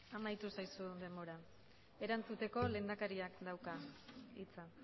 jauna amaitu zaizu denbora erantzuteko lehendakariak dauka hitza